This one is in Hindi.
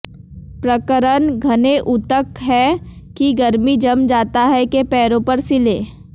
प्रकरण घने ऊतक है कि गर्मी जम जाता है के पैरों पर सिले